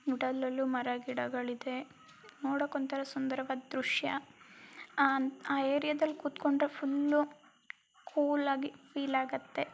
ಯುಟಲ್ಲಲ್ಲೂ ಮರ ಗಿಡಗಳಿದೆ. ನೋಡಲು ಸುಂದರವಾದ ದೃಶ್ಯ ಆಮೇಲೆ ಆ ಏರಿಯಾ ದಲ್ಲಿ ಕೂತ್ಕೊಂಡ್ರೆ ಫುಲ್ಲು ಕೂಲ್ ಆಗಿ ಫೀಲ್ ಆಗುತ್ತೆ.